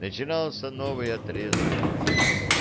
начинался новый отрезок жизни